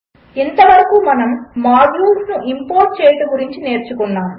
ఇంతవరకు మనము మాడ్యూల్స్ను ఇంపోర్ట్ చేయుట గురించి నేర్చుకున్నాము